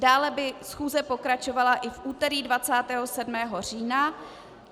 Dále by schůze pokračovala i v úterý 27. října.